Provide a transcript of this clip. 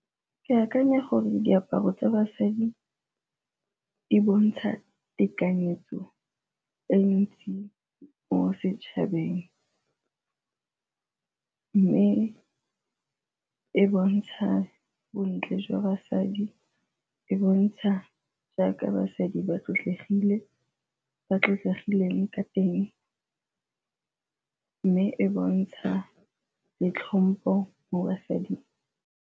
Ke akanya gore diaparo tsa basadi di bontsha tekanyetso e ntsi mo setšhabeng mme e bontsha bontle jwa basadi, e bontsha jaaka basadi ba sotlegile, ba tlotlegileng ka teng, mme e bontsha le tlhompo mo basading.